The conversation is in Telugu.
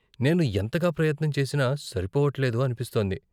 నేను ఎంతగా ప్రయత్నం చేసినా సరిపోవట్లేదు అనిపిస్తోంది.